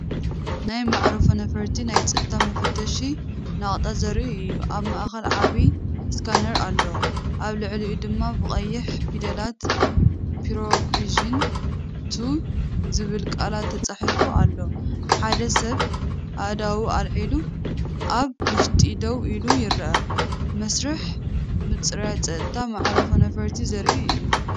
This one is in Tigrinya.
ናይ መዓርፎ ነፈርቲ ናይ ጸጥታ መፈተሺ ነቑጣ ዘርኢ እዩ። ኣብ ማእከል ዓቢ ስካነር ኣሎ፡ኣብ ልዕሊኡ ድማ ብቐይሕ ፊደላት ፕሮቪዥን2ዝብል ቃላት ተጻሒፉ ኣሎ። ሓደ ሰብ ኣእዳዉ ኣልዒሉ ኣብ ውሽጢ ደው ኢሉ ይርአ። መስርሕ ምጽራይ ጸጥታ መዓርፎ ነፈርቲ ዘርኢ እዩ።